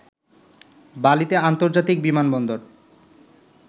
বালিতে আন্তর্জাতিক বিমানবন্দর